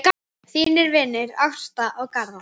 Þínir vinir, Ásta og Garðar.